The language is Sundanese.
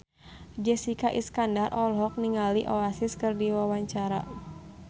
Jessica Iskandar olohok ningali Oasis keur diwawancara